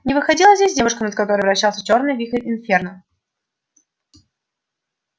не выходила здесь девушка над которой вращался чёрный вихрь инферно